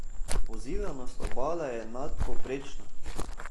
Pozidanost obale je nadpovprečna!